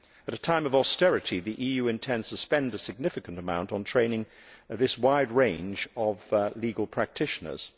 At a time of austerity, the EU intends to spend a significant amount on training this wide range of legal practitioners.